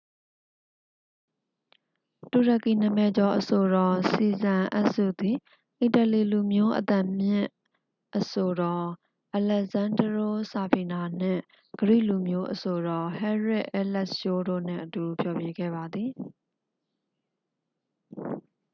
တူရကီနာမည်ကျော်အဆိုတော် စီဇန် အက်စု သည် အီတလီလူမျိုး အမြင့်သံအဆိုတော် အလက်ဇန်းဒရိုး ဆာဖီနာ နှင့် ဂရိလူမျိုး အဆိုတော် ဟဲရစ် အဲလက်ရှိုး တို့နှင့်အတူ ဖျော်ဖြေခဲ့ပါသည်